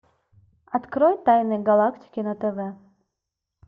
открой тайны галактики на тв